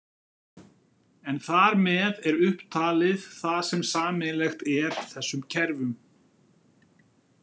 En þar með er upptalið það sem sameiginlegt er þessum kerfum.